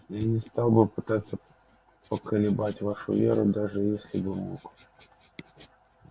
я не стал бы пытаться поколебать вашу веру даже если бы мог